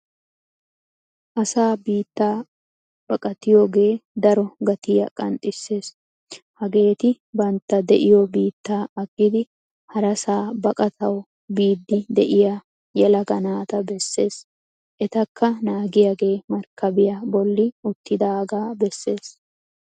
Asaa biittaa baqqattiyoge daro gattiya qanxxisees. Hageeti bnatta deiyo biitta aggidi harasa baqqattawu biidi deiyaa yelaga naataa bessees. Ettaka naagiyage markkabiyaa bolli uttidaga beessees.